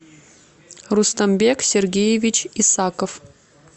рустамбек сергеевич исаков